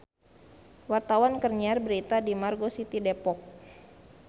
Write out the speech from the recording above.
Wartawan keur nyiar berita di Margo City Depok